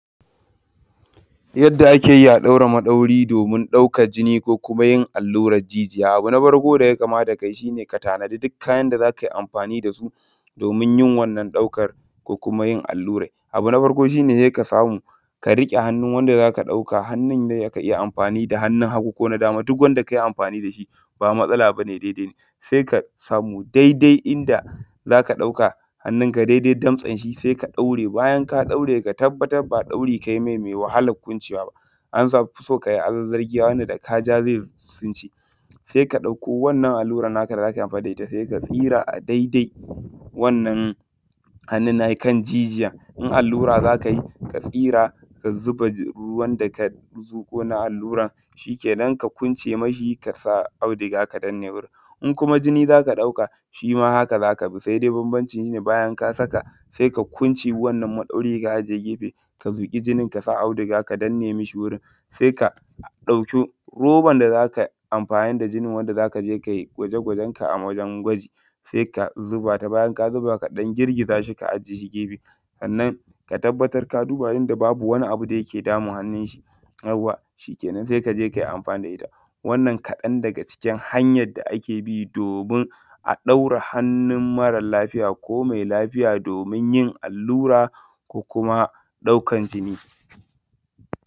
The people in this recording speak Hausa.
Yadda ake yi a daura maɗauri domin ɗaukar jini ko kuma yin allurar jijiya. Abu na farko da ya kamata ka yi shi ne, ka tanadi duk kayan za ka yi amfani da su domin yin wannan ɗaukar ko yin allurai. Abu na farko shi ne, ka samu ka rike hannun wanda za ka ɗauka da hannu za ka yi amfani da hannun hagu ko na dama duk wanda ka yi amfani da shi ba matsala ba ne daidai sai ka samu daidai inda za ka ɗauka hannunka daidai damtsen shi sai ka ɗaure ka tabbatar ba ɗaurin ka yi mai mai wahalar kwancewa ba an fi so ka yi azarzargiya wanda da ka ja zai sunce. Sai ka ɗauko wannan allurar naka da za yi amfani da ita sai ka tsira a daidai wannan hannun na shi kan jijiya in allura za ka yi ka tsira ka zuba ruwan da ka zuƙo na allurar shi ke nan ka kwance ma shi ka sa auduga ka danne ma shi wurin. In kuma jini za ka ɗauka shi ma haka za ka bi sai dai bambanci shi bayan ka saka sai ka kwance wannan maɗauri ka ajiye a gefe ka zuƙi jini ka auduga ka danne mi shi wurin sai ka ɗauki robar da za ka amfani da jinin wanda za ka je ka yi gwaje-gwaje sai ka zuba ta bayan ka dan girgiza shi ka ajiye shi gefe. Sannan ka tabbatar ka duba inda babu wani abu da yake damun hannun shi yawa shi kenan sai ka je ka yi amfani da ita wannan kaɗan daga cikin hanyar da ake bi domin a ɗaura hannun mara lafiya domin allurar daukan jini.